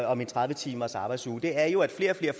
om en tredive timersarbejdsuge er jo at flere og flere